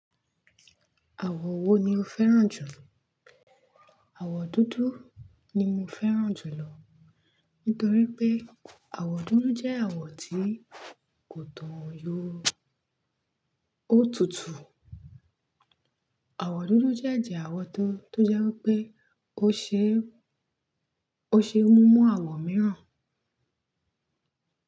Àwọ̀ wo ni o fẹ́ràn jùlọ? Àwọ̀ dúdú ni mo fẹ́ràn jùlọ. Nítorí pé àwọ̀ dúdú jẹ́ àwọ̀ tí kò tàn yó. Ó tutù. Àwọ̀ dúdú dẹ́ ẹ̀jẹ̀ àwọ̀ tó tó jẹ́ wipé, o se ó ṣe múnmon àwọ̀ mìíràn.